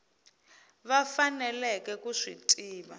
va faneleke ku swi tiva